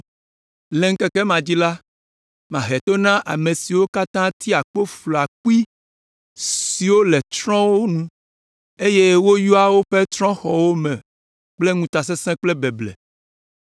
Le ŋkeke ma dzi la, mahe to na ame siwo katã tia kpo flɔa kpui siwo le trɔ̃xɔwo nu, eye woyɔa woƒe trɔ̃xɔwo me kple ŋutasesẽ kple beble.”